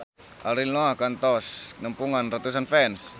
Ariel Noah kantos nepungan ratusan fans